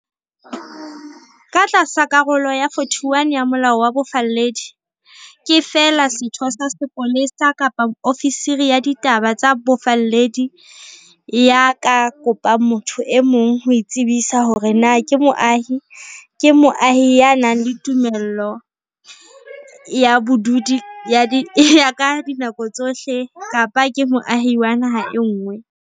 Ka tlasa Karolo ya 41 ya Molao wa Bofalledi, ke feela setho sa sepolesa kapa ofisiri ya ditaba tsa bofalledi ya ka kopang motho e mong ho itsebisa hore na ke moahi, ke moahi ya nang le tumello ya bodudi ya ka dinako tsohle, kapa ke moahi wa naha e nngwe.